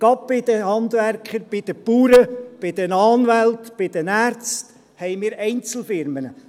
Gerade bei den Handwerkern, bei den Bauern, bei den Anwälten, bei den Ärzten haben wir Einzelfirmen.